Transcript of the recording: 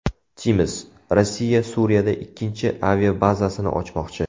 Times: Rossiya Suriyada ikkinchi aviabazasini ochmoqchi.